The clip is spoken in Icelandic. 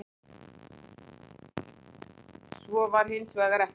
Svo var hins vegar ekki.